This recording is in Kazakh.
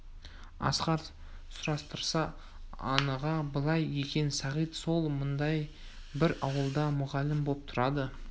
асқар сұрастырса анығы былай екен сағит сол маңдағы бір ауылда мұғалім боп тұрады